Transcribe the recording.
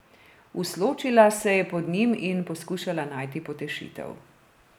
Usločila se je pod njim in poskušala najti potešitev.